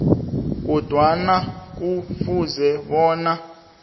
kodwa kufuze bona